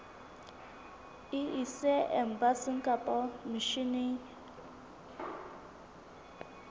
e ise embasing kapa misheneng